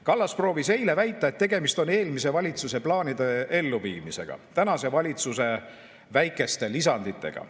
Kallas proovis eile väita, et tegemist on eelmise valitsuse plaanide elluviimisega tänase valitsuse väikeste lisanditega.